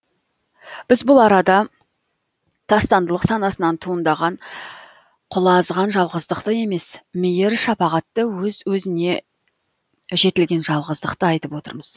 біз бұл арада тастандылық санасынан туындаған құлазыған жалғыздықты емес мейір шапағатты өз өзіне жетілген жалғыздықты айтып отырмыз